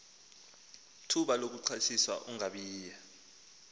thuba lakuxhathisa ungobiya